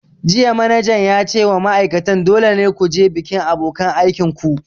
Jiya manajan ya ce wa ma'aikatan 'Dole ne ku je bikin abokanan aikin ku'!